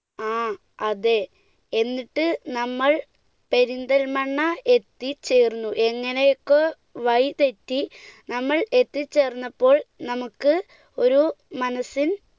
ആ അതെ, എന്നിട്ട് നമ്മൾ പെരിന്തൽമണ്ണ എത്തിച്ചേർന്നു, എങ്ങനെയൊക്കെയോ വഴി തെറ്റി നമ്മൾ എത്തിച്ചേർന്നപ്പോൾ നമുക്ക് ഒരു മനസ്സിൽ